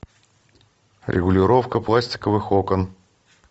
регулировка пластиковых окон